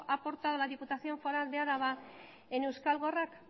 ha aportado la diputación foral de álava a euskal gorrak